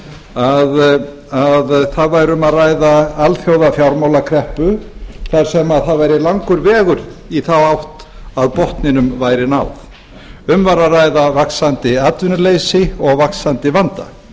að það væri um að ræða alþjóða fjármálakreppu þar sem það væri langur vegur í þá átt að botninum væri náð um væri að ræða vaxandi atvinnuleysi og vaxandi vanda